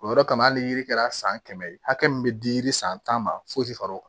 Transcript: O yɔrɔ kama hali ni yiri kɛra san kɛmɛ ye hakɛ min bɛ di yiri san ma fo far'o kan